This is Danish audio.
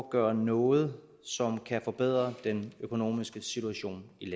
at gøre noget som kan forbedre den økonomiske situation i